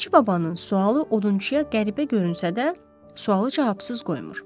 Bilici babanın sualı odunçuya qəribə görünsə də, sualı cavabsız qoymur.